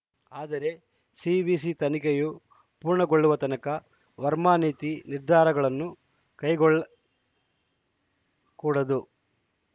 ಆದರೆ ಸಿವಿಸಿ ತನಿಖೆಯು ಪೂರ್ಣಗೊಳ್ಳುವ ತನಕ ವರ್ಮಾ ನೀತಿ ನಿರ್ಧಾರಗಳನ್ನು ಕೈಗೊಳ್ಳಕೂಡದು